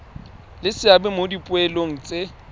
le seabe mo dipoelong tse